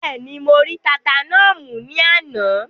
Bẹ́ẹ̀ni, mo rí tata náà mú ní àná?